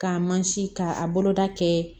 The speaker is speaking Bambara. K'a mansin k'a a boloda kɛ